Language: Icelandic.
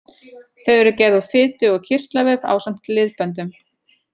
Þau eru gerð úr fitu- og kirtlavef ásamt liðböndum.